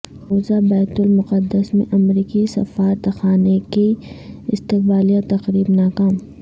مقبوضہ بیت المقدس میں امریکی سفارتخانے کی استقبالیہ تقریب ناکام